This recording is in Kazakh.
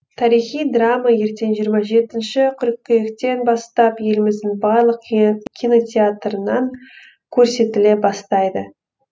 тарихи драма ертең жиырма жетінші қыркүйектен бастап еліміздің барлық кинотеатрынан көрсетіле бастайды